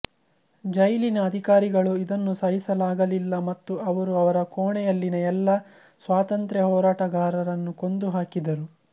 ಜೈಲಿನ ಅಧಿಕಾರಿಗಳು ಇದನ್ನು ಸಹಿಸಲಾಗಲಿಲ್ಲ ಮತ್ತು ಅವರು ಅವರ ಕೋಣೆಯಲ್ಲಿನ ಎಲ್ಲಾ ಸ್ವಾತಂತ್ರ್ಯ ಹೋರಾಟಗಾರರನ್ನು ಕೊಂದು ಹಾಕಿದರು